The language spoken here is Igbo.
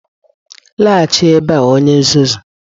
laghachi ebea onye nzuzu!